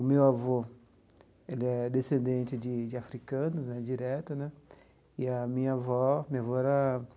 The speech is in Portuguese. O meu avô, ele é descendente de de africanos, né, direto, né, e a minha avó, minha avó era.